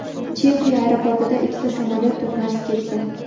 Chexiya aeroportida ikkita samolyot to‘qnashib ketdi.